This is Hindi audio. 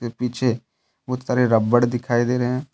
ये पीछे बहुत सारे रबड़ दिखाई दे रहे हैं।